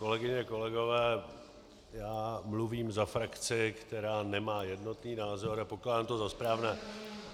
Kolegyně, kolegové, já mluvím za frakci, která nemá jednotný názor, a pokládám to za správné.